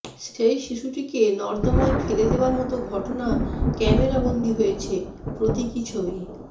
সেই শিশুটিকে নর্দমায় পেলে দেওয়ার মত ঘটনা ক্যামেরা বন্দি হয়েছে প্রতীকী ছবি